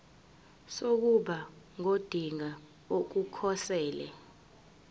sokuba ngodinga ukukhosela